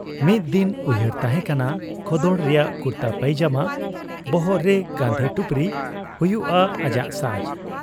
ᱢᱤᱫ ᱫᱤᱱ ᱩᱭᱦᱟᱹᱨ ᱛᱟᱦᱮᱸ ᱠᱟᱱᱟ ᱠᱷᱚᱫᱚᱰ ᱨᱮᱭᱟᱜ ᱠᱩᱨᱛᱟ ᱯᱟᱭᱡᱟᱢᱟ, ᱵᱚᱦᱚᱜᱨᱮ ᱜᱟᱹᱱᱫᱷᱤ ᱴᱩᱯᱨᱤ ᱦᱩᱭᱩᱜ ᱟ ᱟᱡᱟᱜ ᱥᱟᱡᱽ ᱾